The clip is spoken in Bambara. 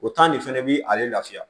O de fɛnɛ bi ale lafiya